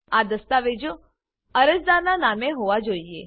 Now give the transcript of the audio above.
આ દસ્તાવેજો અરજદારનાં નામે હોવા જોઈએ